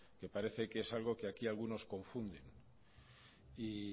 que parece que es algo que aquí algunos confunden y